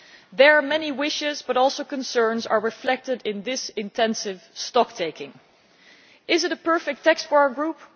Their many wishes, but also concerns, are reflected in this intensive stocktaking. Is it a perfect text for our group?